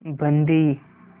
बंदी